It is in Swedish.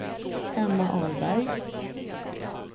Emma Ahlberg